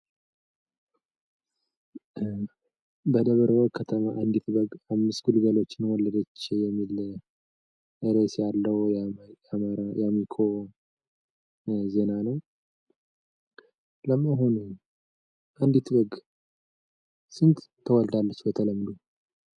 በደብረወርቅ ከተማ አንድት በግ አምስት ግልገሎችን ወለደች የሚል ርዕስ ያለው የአሚኮ ዜና ነው። ለመሆኑ አንድት በግ ስንት ትወልዳለች በተለምዶ?